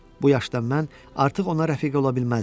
Bu yaşda mən artıq ona rəfiqə ola bilməzdim.